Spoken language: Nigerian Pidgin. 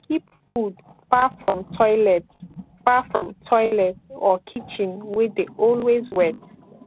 keep food far from toilet far from toilet or kitchen wey dey always wet